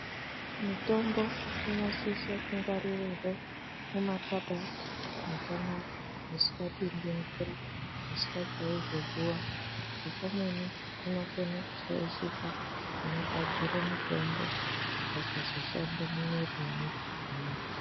Mitombo inosise kungwaririrwe mumakabhadhi makanaka musikapindi mvura musikachaizve zuwa ngekuti pamweni inokona kushaishika inogadzire mitombo ikasazoshande mumwiiri mwedu zvakanaka.